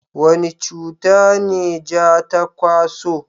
wani cuta ne ja ta kwaso?